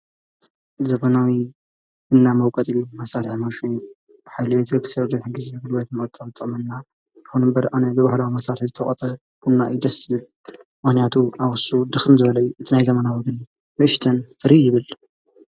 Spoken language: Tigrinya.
ዘበናዊ እና መውቀጺ መሣልያ መሽ ኃይልቤት ርክሠርድንሕ ጊዜ ብልበት መወጠወ ጸመና ልሆኑ እምበር ኣነይ ብብኅዳ መሳል ዝተቕተ ቡና ይደስምል ዋንያቱ ኣዉሱ ድኽምዘበለይ እትናይ ዘመና ወግኒ ምሽተን ፍሪ ይብል።